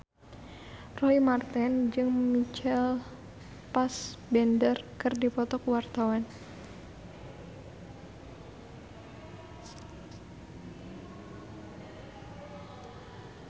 Roy Marten jeung Michael Fassbender keur dipoto ku wartawan